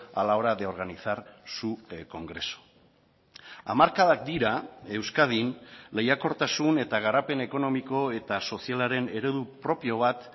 a la hora de organizar su congreso hamarkadak dira euskadin lehiakortasun eta garapen ekonomiko eta sozialaren eredu propio bat